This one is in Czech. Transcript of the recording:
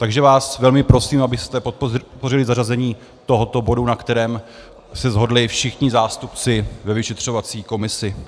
Takže vás velmi prosím, abyste podpořili zařazení tohoto bodu, na kterém se shodli všichni zástupci ve vyšetřovací komisi.